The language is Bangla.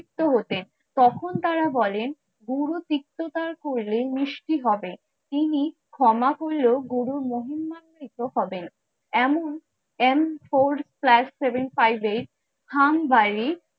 হতেন তখন তারা বলেন গুরু তিক্ততা করলে মিষ্টি হবে তিনি ক্ষমা করলেও গুরুর মহিমাকৃত হবেন। এমন M four plus seven five eight